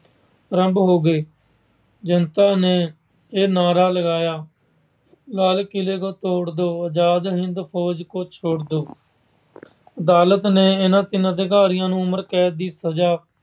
ਅਰੰਭ ਹੋ ਗਏ। ਜਨਤਾ ਨੇ ਇਹ ਨਾਰਾ ਲਗਾਇਆ- ਲਾਲ ਕਿਲ੍ਹੇ ਕੋ ਤੋੜ ਦੋ, ਆਜਾਦ ਹਿੰਦ ਫੌਜ ਕੋ ਛੋੜ ਦੋ। ਅਦਾਲਤ ਨੇ ਇਹਨਾਂ ਤਿੰਨਾਂ ਅਧਿਕਾਰੀਆਂ ਨੂੰ ਉਮਰ ਕੈਦ ਦੀ ਸਜਾ